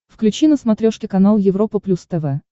включи на смотрешке канал европа плюс тв